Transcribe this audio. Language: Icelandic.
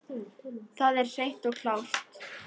Það er hreint og klárt.